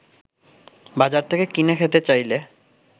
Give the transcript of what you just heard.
বাজার থেকে কিনে খেতে চাইলে